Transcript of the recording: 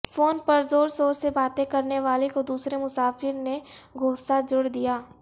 phone پر زور زور سے باتیں کرنے والے کو دوسرے مسافر نے گھونسہ جڑ دیا